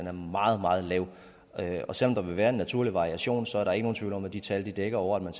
er meget meget lav og selv om der vil være en naturlig variation så er der ikke nogen tvivl om at de tal dækker over at man